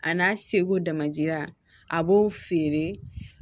A n'a seko damacira a b'o feere